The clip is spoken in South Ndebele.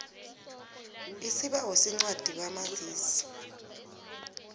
isibawo sencwadi kamazisi